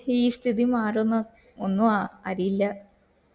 ഈ സ്ഥിതി മാറുന്നു ഒന്നു അരിയില്ല